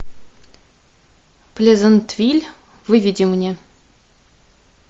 плезантвиль выведи мне